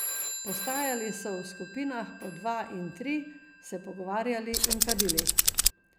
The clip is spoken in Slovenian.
Postajali so v skupinah po dva in tri, se pogovarjali in kadili.